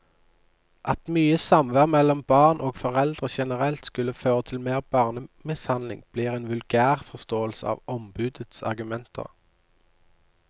At mye samvær mellom barn og foreldre generelt skulle føre til mer barnemishandling, blir en vulgærforståelse av ombudets argumenter.